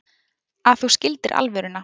Að þú skildir alvöruna.